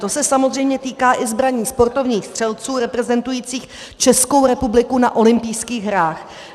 To se samozřejmě týká i zbraní sportovních střelců reprezentujících Českou republiku na olympijských hrách.